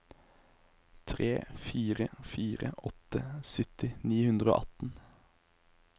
tre fire fire åtte sytti ni hundre og atten